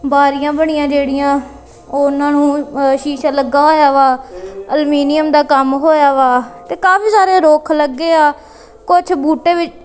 ਬਾਰੀਆਂ ਬਣੀਆਂ ਜਿਹੜੀਆਂ ਉਹ ਉਹਨਾਂ ਨੂੰ ਸ਼ੀਸ਼ਾ ਲੱਗਾ ਹੋਇਆ ਵਾ ਅਲਮੀਨੀਅਮ ਦਾ ਕੰਮ ਹੋਇਆ ਵਾ ਤੇ ਕਾਫੀ ਸਾਰੇ ਰੁਖ ਲੱਗੇ ਆ ਕੁਛ ਬੂਟੇ ਵਿੱਚ।